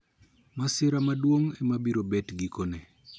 Masira maduong` ema biro bet gikone